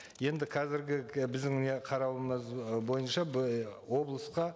енді қазіргі біздің міне қарауымыз бойынша облысқа